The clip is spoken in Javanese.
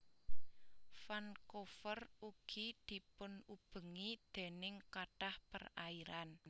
Vancouver ugi dipunubengi déning kathah perairan